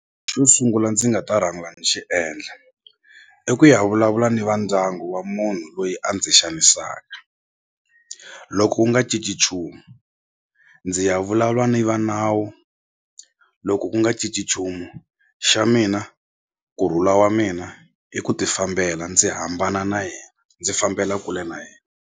Xo sungula ndzi nga ta rhanga ni xi endla i ku ya vulavula ni va ndyangu wa munhu loyi a ndzi xanisaka loko ku nga cinci nchumu ndzi ya vulavula ni va nawu loko ku nga cinci nchumu xa mina kurhula wa mina i ku ti fambela ndzi hambana na yena ndzi fambela kule na yena.